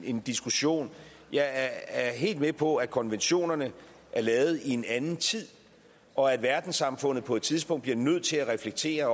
en diskussion jeg er helt med på at konventionerne er lavet i en anden tid og at verdenssamfundet på et tidspunkt også bliver nødt til at reflektere